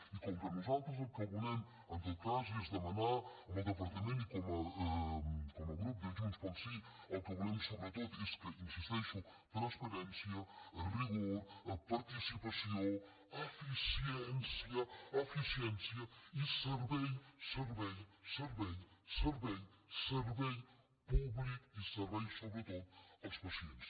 i com que nosaltres el que volem en tot cas és demanar al departament i com a grup de junts pel sí el que volem sobretot és hi insisteixo transparència rigor participació eficiència eficiència i servei servei servei públic i servei sobretot als pacients